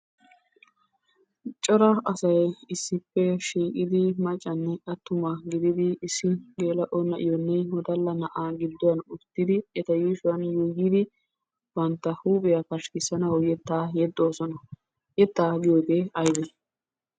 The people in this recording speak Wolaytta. Cora asay issippe shiiqqidi maccanne atumma gididi issi geela'o na'iyonne woddalla na'aa gidduwan uttidi eta yuushuwan yuyyidi bantta huuphiya paskkissanawu yettaa yexxoosona. Yettaa giyogee aybee?